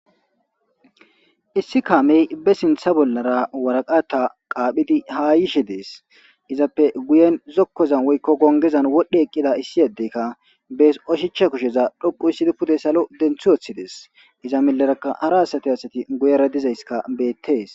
issi kaamey be sintha bollara waraqata qaaphidi haa yishe dees izappe guyen zokkozan woykko gongezan wodhdhe eqqida issi yeddeykka bees oshicha kusheza dhoqu issidi pude salo denthioththidees iza milerakka hara asati asati guyera dizayska beettees